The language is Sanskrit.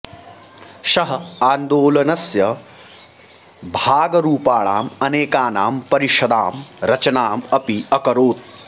सः आन्दोलनस्य भागरूपाणाम् अनेकानां परिषदां रचनाम् अपि अकरोत्